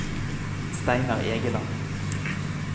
Steinar Egeland